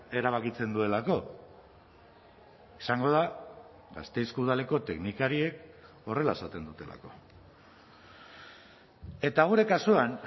erabakitzen duelako izango da gasteizko udaleko teknikariek horrela esaten dutelako eta gure kasuan